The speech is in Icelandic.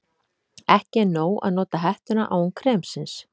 Ekki er nóg að nota hettuna án kremsins.